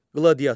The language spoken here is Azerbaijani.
Qladiatör.